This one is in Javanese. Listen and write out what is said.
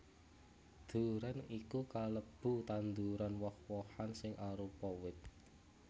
Durén iku kalebu tanduran woh wohan sing arupa wit